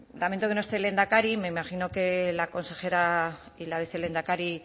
lamento que no esté el lehendakari me imagino que la consejera y la vicelehendakari